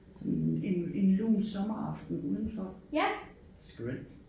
Sådan en en lun sommeraften udenfor skønt